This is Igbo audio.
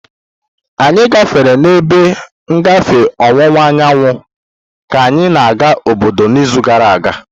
Anyị gafere n'ebe ngafe ọwụwa anyanwụ ka anyị na-aga obodo n'izu gara aga.